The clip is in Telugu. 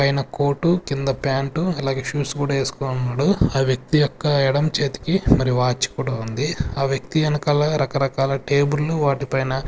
పైన కోటు కింద ప్యాంట్ అలాగే షూస్ కూడా వేసుకొని ఉన్నాడు ఆ వ్యక్తి యొక్క ఎడమ చేతికి మరి వాచ్ కూడా ఉంది ఆ వ్యక్తి వెనకాల రకరకాల టేబుల్లు వాటిపైన.